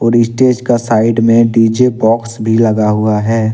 का साइड में DJ box भी लगा हुआ है।